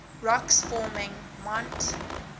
rocks forming mont